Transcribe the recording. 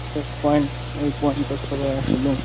Access point এই পয়েন্ট -এ সবাই আসবেন।